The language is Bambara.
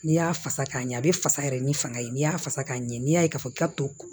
N'i y'a fasa k'a ɲɛ a bɛ fasa yɛrɛ ni fanga ye n'i y'a fasa k'a ɲɛ n'i y'a ye k'a fɔ k'a to